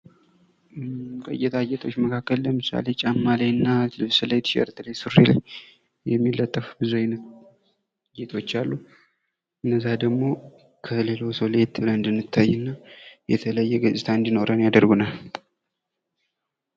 ከጌጣጌጥ አይነቶች ለምሳሌ ጫማ ላይና ልብስ ላይ፣ ቲሸርት ላይ፣ ሱሪ ላይ እሚለጠፍ ብዙ አይነት ጌጦች አሉ። እነዛ ደግሞ ከሌላው ሰው ለየት ብለን እንድንታይና የተለየ ገጽታ እንዲኖረን ያደርጉናል።